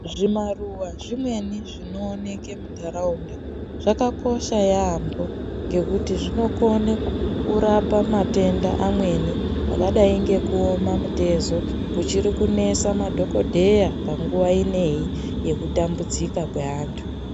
Zvimaruwa zvimweni zvinooneke munharaunda zvakakosha yaamho ngekuti zvinokone kurapa matenda amweni akadayi ngekuoma mitezo ichiri kunese madhokodheya panguwa ineyi yekutambudzika kweantu.